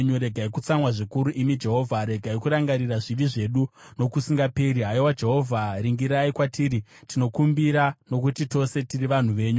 Regai kutsamwa zvikuru imi Jehovha; regai kurangarira zvivi zvedu nokusingaperi. Haiwa Jehovha, ringirai kwatiri, tinokumbira, nokuti tose tiri vanhu venyu.